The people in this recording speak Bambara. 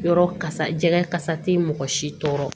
Yɔrɔ kasa jɛgɛ kasa tɛ mɔgɔ si tɔɔrɔ